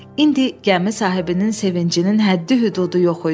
İndi gəmi sahibinin sevincinin həddi-hüdudu yox idi.